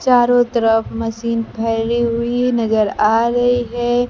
चारों तरफ मशीन फैली हुई नजर आ रही है।